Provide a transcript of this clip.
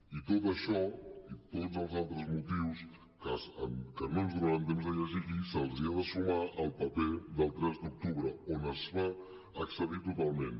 i tot això i tots els altres motius que no ens donarà temps de llegir i se’ls ha de sumar el paper del tres d’octubre on es va excedir totalment